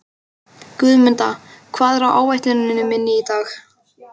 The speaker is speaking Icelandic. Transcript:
Guðmunda, hvað er á áætluninni minni í dag?